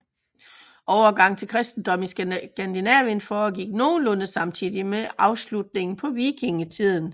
Overgangen til kristendom i Skandinavien foregik nogenlunde samtidig med afslutningen på vikingetiden